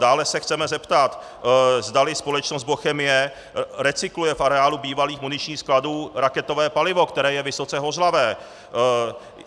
Dále se chceme zeptat, zdali společnost Bochemie recykluje v areálu bývalých muničních skladů raketové palivo, které je vysoce hořlavé.